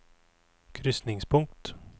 krysningspunkt